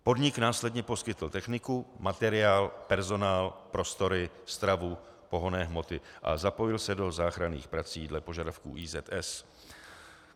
Podnik následně poskytl techniku, materiál, personál, prostory, stravu, pohonné hmoty a zapojil se do záchranných prací dle požadavku IZS.